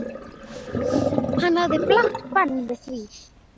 Hann lagði blátt bann við því.